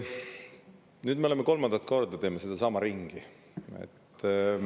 Nüüd me teeme kolmandat korda sedasama ringi.